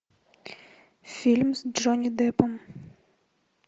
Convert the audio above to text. фильм с джонни деппом